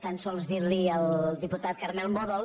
tan sols dir li al diputat carmel mòdol